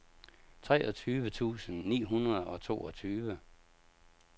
treogtyve tusind ni hundrede og toogtyve